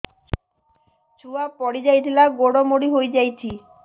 ଛୁଆ ପଡିଯାଇଥିଲା ଗୋଡ ମୋଡ଼ି ହୋଇଯାଇଛି